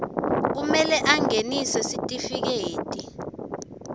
kumele angenise sitifiketi